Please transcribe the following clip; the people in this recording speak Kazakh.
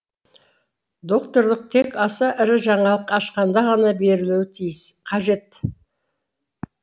докторлық тек аса ірі жаңалық ашқанда ғана берілуі қажет